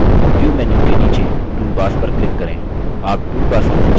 view menu के नीचे toolbars पर click करें